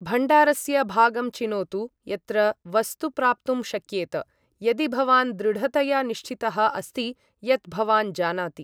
भण्डारस्य भागं चिनोतु यत्र वस्तु प्राप्तुं शक्येत, यदि भवान् दृढतया निश्चितः अस्ति यत् भवान् जानाति ।